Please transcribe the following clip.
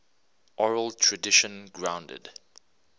oral tradition grounded